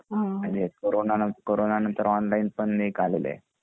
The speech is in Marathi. म्हणजे कोरोंना नंतर आता ऑनलाइन पण एक आलेल आहे